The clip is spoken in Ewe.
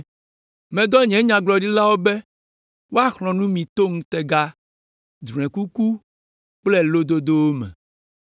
Medɔ nye nyagblɔɖilawo be woaxlɔ̃ nu mi to ŋutega, drɔ̃ekuku kple lododowo me.”